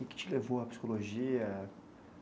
O que te levou à psicologia?